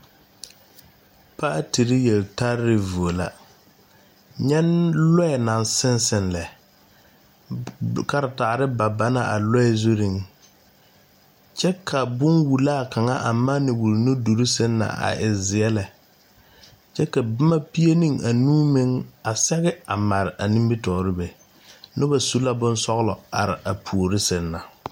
paatiri yeltare vuo la nyɛ lɔɛ naŋ seŋ seŋ lɛ karetaare pa pa la a lɔɛ zuri kyɛ ka bonwulaa kaŋa a manne wuli nuduluŋ seŋ na e zeɛ lɛ kyɛ ka boma pie ne anuu meŋ a sɛge mare a nimitɔɔre be noba su la bonsɔgelɔ are a puori seŋ na